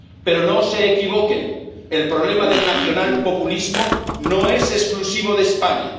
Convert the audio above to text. Pero no se equivoquen el problema del nacional populismo no es exclusivo de España.